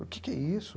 O que que é isso?